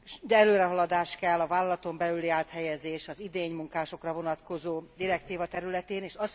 De előrehaladás kell a vállalaton belüli áthelyezésre és az idénymunkásokra vonatkozó direktíva területén is.